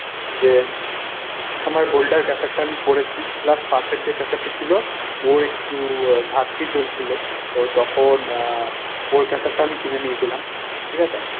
যে আমার boulder caser টা আমি করেছি plus পাশে যে caser টা ছিল ওর একটু ঘাটতি চলছিল তো তখন আহ ওর caser টা আমি কিনে নিয়েছিলাম। ঠিকাছে?